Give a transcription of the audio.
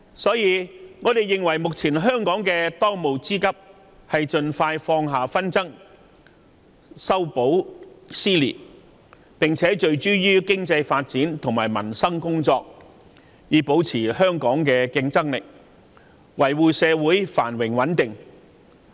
因此，我們認為，香港的當務之急是盡快放下紛爭，修補撕裂，並且聚焦於經濟發展及民生工作，以保持香港的競爭力，維護社會繁榮穩定。